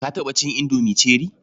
Ka taɓa cin indomi cherie?